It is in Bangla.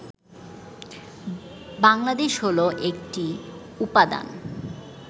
বাংলাদেশ হলো একটি উপাদান